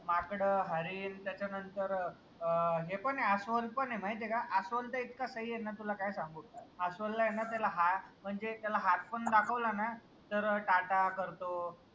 माकड, हरीन त्याच्या नंतर अं हे पन ए अस्वल पन ए माहितीय का अस्वल त इतका सही ए न तुला काय सांगू अस्वल ए न त्याला हा म्हनजे त्याला हात पन दाखवला ना तर टाटा करतो